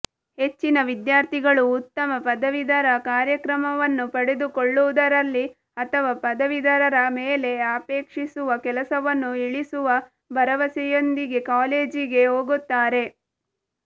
ಹೆಚ್ಚಿನ ವಿದ್ಯಾರ್ಥಿಗಳು ಉತ್ತಮ ಪದವೀಧರ ಕಾರ್ಯಕ್ರಮವನ್ನು ಪಡೆದುಕೊಳ್ಳುವುದರಲ್ಲಿ ಅಥವಾ ಪದವೀಧರರ ಮೇಲೆ ಅಪೇಕ್ಷಿಸುವ ಕೆಲಸವನ್ನು ಇಳಿಸುವ ಭರವಸೆಯೊಂದಿಗೆ ಕಾಲೇಜಿಗೆ ಹೋಗುತ್ತಾರೆ